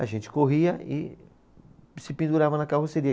A gente corria e se pendurava na carroceria.